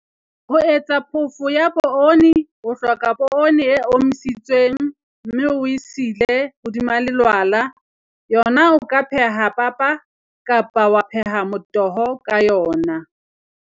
Ho etsa phofo ya poone, o hloka ka poone e omisitsweng, mme oe sile hodima lelwala. Yona o ka pheha papa kapa wa pheha motoho ka yona.